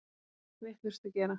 Allt vitlaust að gera!